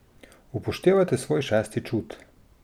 Upoštevajte svoj šesti čut.